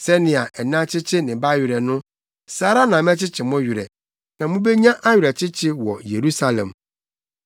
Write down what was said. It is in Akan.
Sɛnea ɛna kyekye ne ba werɛ no saa ara na mɛkyekye mo werɛ; na mubenya awerɛkyekye wɔ Yerusalem.”